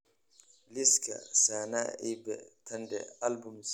liiska sanaipei tande albums